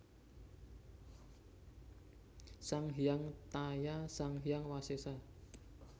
Sang Hyang Taya Sang Hyang Wasesa